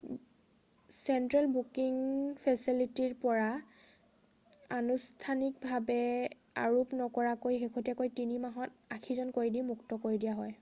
central booking ফেছেলিটিৰ পৰা আনুষ্ঠানিকভাৱে আৰোপ নকৰাকৈ শেহতীয়া 3 মাহত 80 জন কয়দী মুক্ত কৰি দিয়া হয়